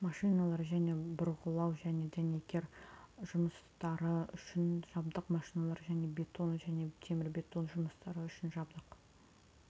машиналар және бұрғылау және дәнекер жұмыстары үшін жабдық машиналар және бетон және темірбетон жұмыстары үшін жабдық